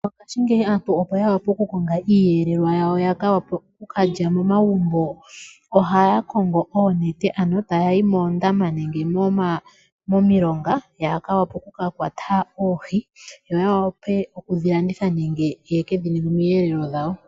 Mongashingeyi aantu opo ya wape okukonga iiyelelwa yawo ya ka wape oku ka lya momavumbo, ohaya kongo oonete ano taya yi moondama nenge .omilomga ya wape oku ka kwata oohi yo ya wape oku dhi landitha nenge ye kedhi ninge oomwelelo dhawo.